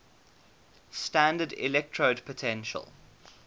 standard electrode potential